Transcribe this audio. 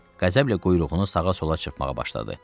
Qəzəblə quyruğunu sağa-sola çırpmağa başladı.